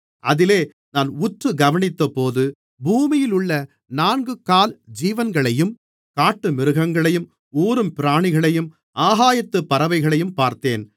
அதிலே நான் உற்று கவனித்தபோது பூமியிலுள்ள நான்குகால் ஜீவன்களையும் காட்டுமிருகங்களையும் ஊரும் பிராணிகளையும் ஆகாயத்துப் பறவைகளையும் பார்த்தேன்